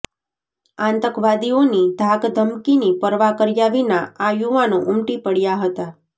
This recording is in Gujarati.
આતંકવાદીઓની ધાકધમકીની પરવા કર્યા વિના આ યુવાનો ઉમટી પડ્યા હતા